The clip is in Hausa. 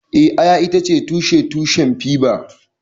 Eh, Aya itace tushen tushen fiber